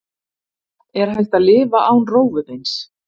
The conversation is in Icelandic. Er hægt að lifa án rófubeins?